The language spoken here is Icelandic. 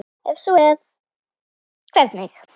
Ef svo er, hvernig?